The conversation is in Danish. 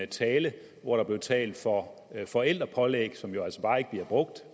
tale hvor der blev talt for forældrepålæg som jo altså bare ikke bliver brugt